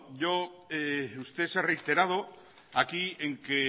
usted se ha reiterado aquí en que